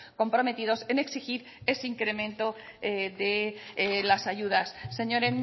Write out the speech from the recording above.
comprometidos en exigir ese incremento de las ayudas señor